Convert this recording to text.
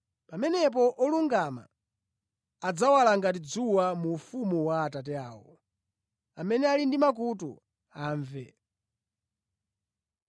Pamenepo olungama adzawala ngati dzuwa mu ufumu wa Atate awo. Amene ali ndi makutu amve.”